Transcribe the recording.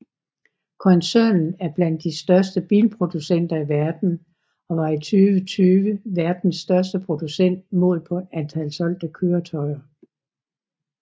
Koncernen er blandt de største bilproducenter i verden og var i 2020 verdens største producent målt på antal solgte køretøjer